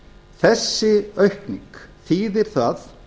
þessi aukning þýðir það